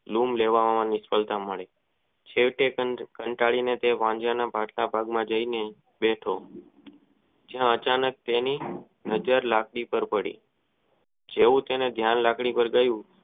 લઉં લેવામાં નિસ્ફળતા મળી છેવટે તે કનટલી ને પાંજરા માં જય ને બેઠો જ્યાં આચાનક તેને નજર લગતી ખબર પડી જેવું તેનું ધ્યાન લાકડી પાર ગયું.